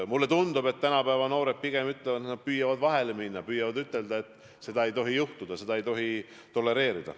Mulle tundub, et tänapäeva noored pigem püüavad vahele minna, püüavad ütelda, et seda ei tohi teha, seda ei tohi tolereerida.